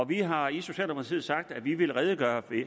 vi har i socialdemokratiet sagt at vi vil redegøre